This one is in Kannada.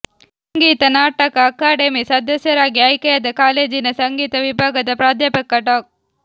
ಸಂಗೀತ ನಾಟಕ ಅಕಾಡೆಮಿ ಸದಸ್ಯರಾಗಿ ಆಯ್ಕೆಯಾದ ಕಾಲೇಜಿನ ಸಂಗೀತ ವಿಭಾಗದ ಪ್ರಾಧ್ಯಾಪಕ ಡಾ